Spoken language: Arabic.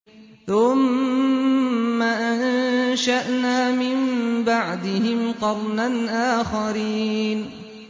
ثُمَّ أَنشَأْنَا مِن بَعْدِهِمْ قَرْنًا آخَرِينَ